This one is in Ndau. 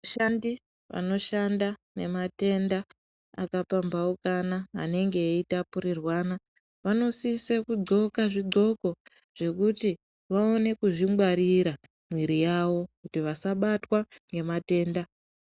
Vashandi vanoshanda nematenda akapambaukana anenge eitapudziranwa vanosisa kugonxka zvigonxo zvekuti vakone kuzvingwarira mwiri yawo kuti vasabatwa nematenda.